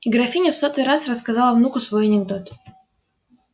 и графиня в сотый раз рассказала внуку свой анекдот